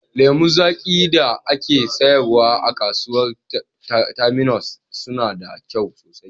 Lemu zaƙi da ake sayarwa a kasuwar Terminus suna da kyau sosai